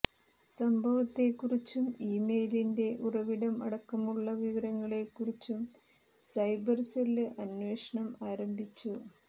സംഭവത്തെക്കുറിച്ചും ഇമെയിലിന്റെ ഉറവിടം അടക്കമുള്ള വിവരങ്ങളെക്കുറിച്ചും സൈബര് സെല് അന്വേഷണം ആരംഭിച്ചു